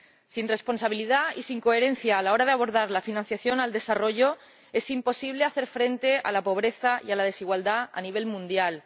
Sin responsabilidad y sin coherencia a la hora de abordar la financiación al desarrollo es imposible hacer frente a la pobreza y a la desigualdad a nivel mundial.